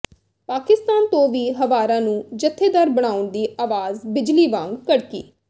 ਪਾਕਿਸਤਾਨ ਤੋਂ ਵੀ ਹਵਾਰਾ ਨੂੰ ਜਥੇਦਾਰ ਬਣਾਉਣ ਦੀ ਆਵਾਜ਼ ਬਿਜਲੀ ਵਾਂਗ ਕੜਕੀ